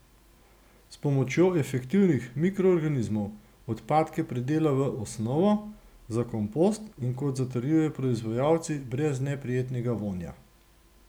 S pomočjo efektivnih mikroorganizmov odpadke predela v osnovo za kompost, in kot zatrjujejo proizvajalci, brez neprijetnega vonja.